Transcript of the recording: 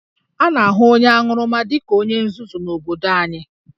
A na-ahụ onye aṅụrụma dị ka onye nzuzu n'obodo anyị